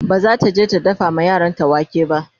bazata je ta dafa ma yaranta wake ba